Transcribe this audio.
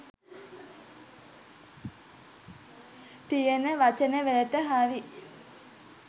තියෙන වචන වලට හරි